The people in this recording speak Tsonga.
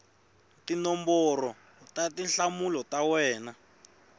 tinomboro ta tinhlamulo ta wena